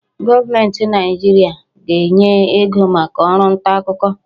Gọọmenti Naịjirịa a ga-enye ego maka ọrụ ntaakụkọ?